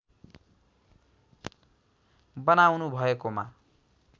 बनाउनु भएकोमा